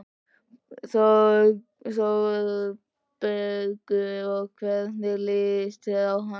ÞÓRBERGUR: Og hvernig líst þér á hann?